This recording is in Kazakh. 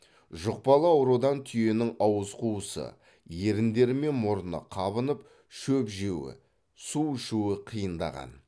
жұқпалы аурудан түйенің ауыз қуысы еріндері мен мұрны қабынып шөп жеуі су ішуі қиындаған